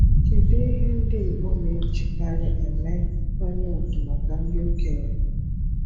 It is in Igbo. Kedu ihe ndị Igbo na-ejikarị eme nkwanye ugwu maka ndị okenye?